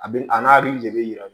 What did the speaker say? A bɛ a n'a de bɛ yira